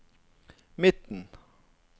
midten